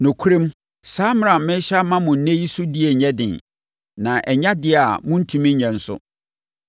Nokorɛm, saa mmara a merehyɛ ama mo ɛnnɛ yi sodie nyɛ den, na ɛnyɛ adeɛ a morentumi nyɛ nso.